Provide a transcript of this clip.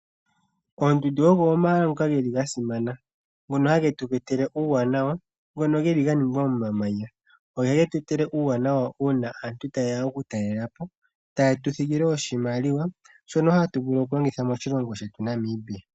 Oondundu ogo omahal ngoka geli ga simana ngono hage tweetele uuwanawa ngono geli ga ningwa momamanya. Oha getweetele uuwanawa uuna aantu taye ya okutalelapo taye tuthigile oshimaliwa shono hatu vulu okulongitha moshilongo shetu Namibia.